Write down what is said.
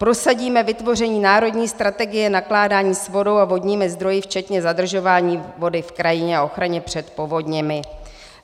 "Prosadíme vytvoření národní strategie nakládání s vodou a vodními zdroji včetně zadržování vody v krajině a ochraně před povodněmi."